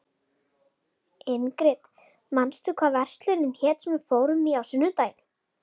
Ingrid, manstu hvað verslunin hét sem við fórum í á sunnudaginn?